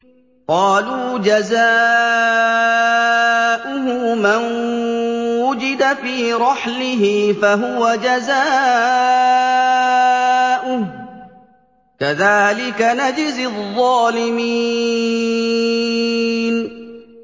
قَالُوا جَزَاؤُهُ مَن وُجِدَ فِي رَحْلِهِ فَهُوَ جَزَاؤُهُ ۚ كَذَٰلِكَ نَجْزِي الظَّالِمِينَ